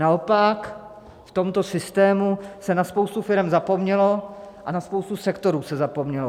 Naopak v tomto systému se na spoustu firem zapomnělo a na spoustu sektorů se zapomnělo.